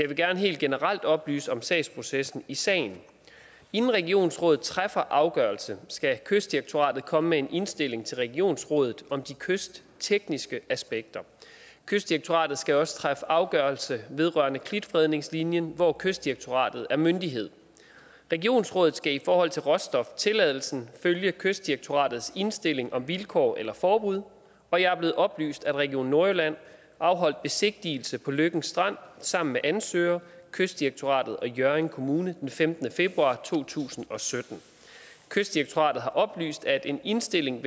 vil gerne helt generelt oplyse om sagsprocessen i sagen inden regionsrådet træffer afgørelse skal kystdirektoratet komme med en indstilling til regionsrådet om de kysttekniske aspekter kystdirektoratet skal også træffe afgørelse vedrørende klitfredningslinjen hvor kystdirektoratet er myndighed regionsrådet skal i forhold til råstoftilladelsen følge kystdirektoratets indstilling om vilkår eller forbud og jeg er blevet oplyst om at region nordjylland afholdt besigtigelse på løkken strand sammen med ansøger kystdirektoratet og hjørring kommune den femtende februar to tusind og sytten kystdirektoratet har oplyst at en indstilling